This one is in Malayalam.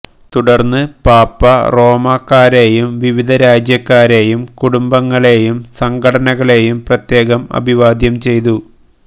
തുടര്ന്നു പാപ്പാ റോമാക്കാരെയും വിവിധ രാജ്യാക്കാരെയും കുടുംബങ്ങളെയും സംഘടനകളെയും പ്രത്യേകം അഭിവാദ്യം ചെയ്തു